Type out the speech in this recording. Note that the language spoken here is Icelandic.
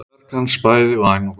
Verk hans bæði væn og góð.